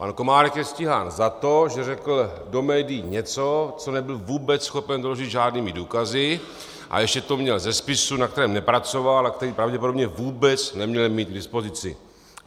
Pan Komárek je stíhán za to, že řekl do médií něco, co nebyl vůbec schopen doložit žádnými důkazy, a ještě to měl ze spisu, na kterém nepracoval a který pravděpodobně vůbec neměl mít k dispozici.